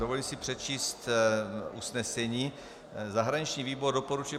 Dovoluji si přečíst usnesení: Zahraniční výbor doporučuje